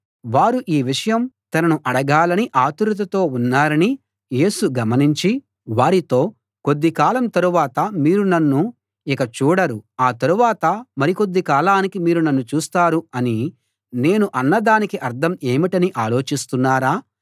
వారు ఈ విషయం తనను అడగాలని ఆతురతతో ఉన్నారని యేసు గమనించి వారితో కొద్ది కాలం తరువాత మీరు నన్ను ఇక చూడరు ఆ తరువాత మరి కొద్ది కాలానికి మీరు నన్ను చూస్తారు అని నేను అన్నదానికి అర్థం ఏమిటని ఆలోచిస్తున్నారా